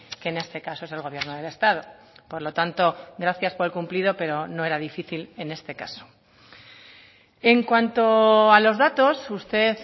que en este caso es el gobierno del estado por lo tanto gracias por el cumplido pero no era difícil en este caso en cuanto a los datos usted